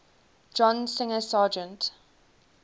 john singer sargent